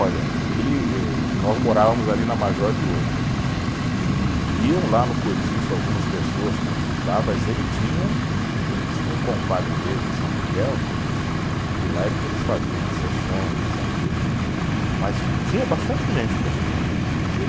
Olha, ele eh, que nós morávamos ali na Major Diogo, e e iam lá no Cortiço algumas pessoas consultar, mas ele tinha, ele tinha um compadre dele em São Miguel, que lá era que eles faziam as sessões, isso e aquilo, e, mas tinha bastante gente procurando.